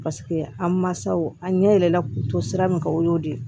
Paseke a mansaw a ɲɛ yɛlɛla k'u to sira min kan o y'o de ye